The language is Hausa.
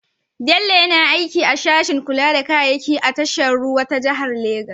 Bello na aiki a sashen kula da kayayyaki a tashar ruwa ta jihar Legas.